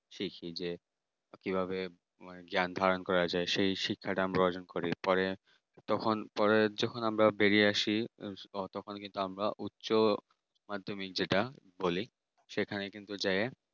সাক্ষী যে কিভাবে ধারণ করা যায় সেই শিক্ষাটা আমরা অর্জন করি পরে। তখন পরে যখন আমরা বেরিয়ে আসি তখন কিন্তু আমরা উচ্চ মাধ্যমিক যেটা বলি সেখানে কিন্তু যায়